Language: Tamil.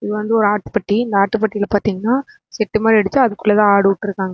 இது வந்து ஒரு ஆட்டுப்பட்டி இந்த ஆட்டுப்பட்டில பாத்தீங்கனா செட்டு மாறி அடிச்சு அதுக்குள்ளதா ஆடு உட்ருக்காங்க.